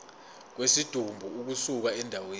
kwesidumbu ukusuka endaweni